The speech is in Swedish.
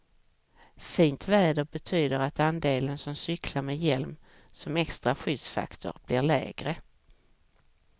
Fint väder betyder att andelen som cyklar med hjälm som extra skyddsfaktor blir lägre.